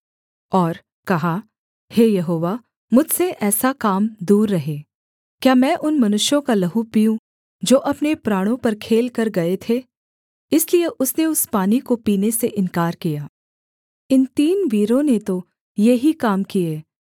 और कहा हे यहोवा मुझसे ऐसा काम दूर रहे क्या मैं उन मनुष्यों का लहू पीऊँ जो अपने प्राणों पर खेलकर गए थे इसलिए उसने उस पानी को पीने से इन्कार किया इन तीन वीरों ने तो ये ही काम किए